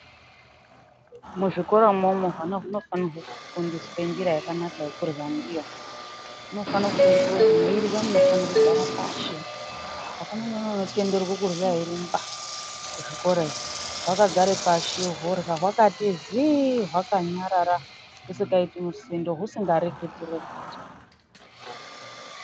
Muzvikoramwomwo hwana hunofanire kufundiswe njira yakanaka yekurya ndiyo, hunofanirwe kufundiswe kuti mweirya munofanire kugare pashi, hakuna mwana unotenderwe kurya eirumba kuzvikora iyo, hwakagare pashi horya, hwakati zii, hwakanyarara, husikaiti misindo ,husingareketireketi.